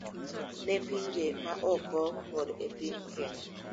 Ne pinje maoko kod e piny Kenya.